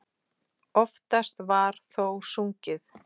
Oftast var þó sungið.